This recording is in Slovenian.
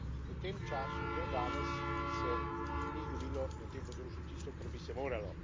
Ampak v tem času, do danes, se ni zgodilo na tem področju tisto, kar bi se moralo.